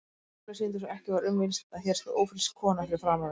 Tölur sýndu svo ekki var um villst, að hér stóð ófrísk kona fyrir framan mig.